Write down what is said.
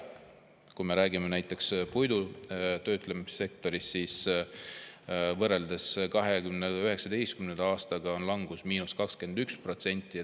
Kui me räägime näiteks puidutöötlemise sektorist, siis võrreldes 2019. aastaga on langus 21%.